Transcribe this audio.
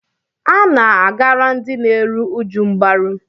A na-agara ndị na-eru uju mgbaru.